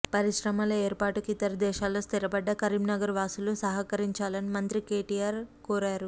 పరిశ్రమల ఏర్పాటుకు ఇతర దేశాల్లో స్థిరపడ్డ కరీంనగర్ వాసులు సహకరించాలని మంత్రి కేటీఆర్ కోరారు